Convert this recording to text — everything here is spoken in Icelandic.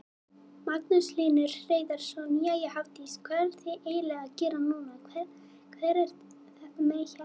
Magnús Hlynur Hreiðarsson: Jæja Hafdís, hvað ertu eiginlega að gera núna, hvað ert með hérna?